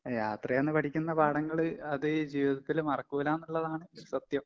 എഹ് യാത്രേന്ന് പഠിക്കുന്ന പാഠങ്ങള് അതീ ജീവിതത്തില് മറക്കൂലാന്നിള്ളതാണ് സത്യം.